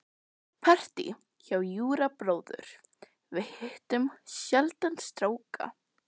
Partí hjá Júra bróður- við hittum sjaldan stráka.